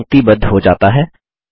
text पंक्तिबद्ध हो जाता है